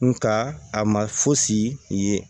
Nka a ma fosi ye